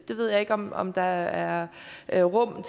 jeg ved ikke om om der er er rum